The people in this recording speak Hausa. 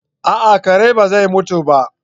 A'a kare ba zai mutu ba